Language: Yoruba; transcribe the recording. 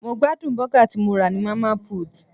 Mo gbádùn bọ́gà tí mo rà ní Mama put.